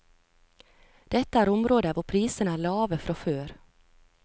Dette er områder hvor prisene er lave fra før.